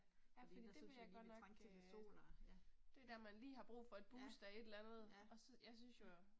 Ja fordi det vil jeg godt nok øh. Det er der man lige har brug for et boost af et eller andet. Og så, jeg synes jo